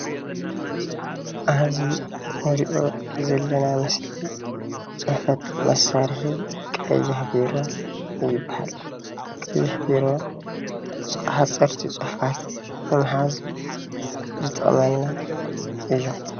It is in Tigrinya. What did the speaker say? ኣብዚ እንሪኦ ዘለና ምስሊ ፅሕፈት መሳርሒ ቀይሕ ቢሮ ይብሃል፡፡ ቀይሕ ቢሮ ሓፀርቲ ፅሑፋት ንምሓዝ ዝጠቅመና እዩ፡፡